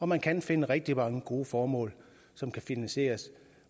man kan finde rigtig mange gode formål som kan finansieres